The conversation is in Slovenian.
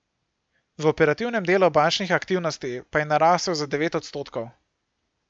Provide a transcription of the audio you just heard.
V operativnem delu bančnih aktivnosti pa je narasel za devet odstotkov.